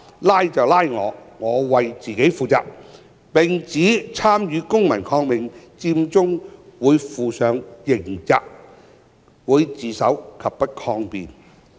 拉就拉我，我為自己負責"，並指參與"公民抗命佔中"會負上刑責，她會自首及不抗辯。